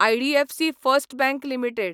IDFC first bank limited